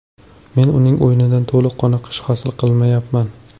Men uning o‘yinidan to‘liq qoniqish hosil qilyapman.